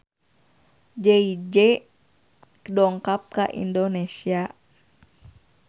Jay Z dongkap ka Indonesia